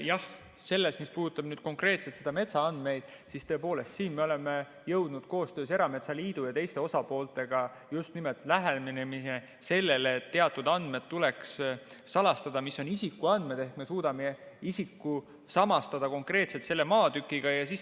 Jah, selles, mis puudutab konkreetselt metsaandmeid, me oleme jõudnud koostöös erametsaliidu ja teiste osapooltega just nimelt selle lähenemiseni, et teatud andmed, mis on isikuandmed, et me suudame isiku samastada konkreetselt selle maatükiga, tuleks salastada.